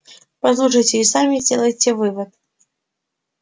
послушайте и сами сделайте вывод